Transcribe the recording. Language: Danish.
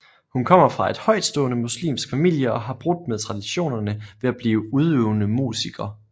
Hun kommer fra en højtstående muslimsk familie og har brudt med traditionerne ved at blive udøvende musiker